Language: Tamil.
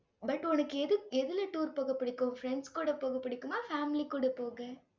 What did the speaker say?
but உனக்கு எது எதுல tour போக பிடிக்கும்? friends கூட போக பிடிக்குமா? family கூட போக.